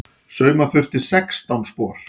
Sauma þurfti sextán spor.